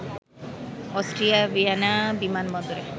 অস্ট্রিয়ার ভিয়েনা বিমান বন্দরে